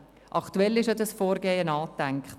Aktuell ist ja dieses Vorgehen angedacht.